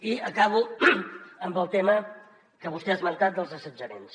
i acabo amb el tema que vostè ha esmentat dels assetjaments